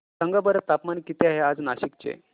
सांगा बरं तापमान किती आहे आज नाशिक चे